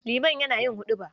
Liman yana yin huɗuba.